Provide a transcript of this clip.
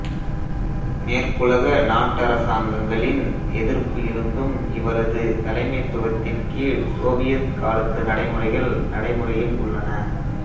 மேற்குலக நாட்டரசாங்கங்களின் எதிர்ப்பு இருந்தும் இவரது தலைமைத்துவத்தின் கீழ் சோவியத் காலத்து நடைமுறைகள் நடைமுறையில் உள்ளன